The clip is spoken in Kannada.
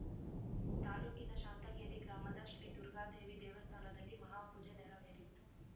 ತಾಲೂಕಿನ ಶಾಂತಗೇರಿ ಗ್ರಾಮದ ಶ್ರೀ ದುರ್ಗಾದೇವಿ ದೇವಸ್ಥಾನದಲ್ಲಿ ಮಹಾಪೂಜೆ ನೆರವೇರಿತು